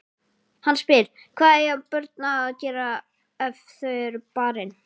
Hann spyr: Hvað eiga börn að gera ef þau eru barin?